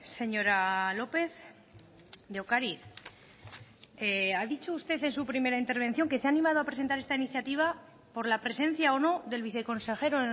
señora lópez de ocariz ha dicho usted en su primera intervención que se ha animado a presentar esta iniciativa por la presencia o no del viceconsejero